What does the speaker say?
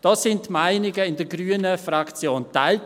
Dazu waren die Meinungen in der grünen Fraktion geteilt.